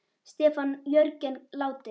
Stefán Jörgen látinn.